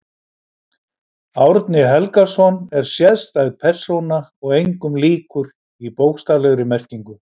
Árni Helgason er sérstæð persóna og engum líkur í bókstaflegri merkingu.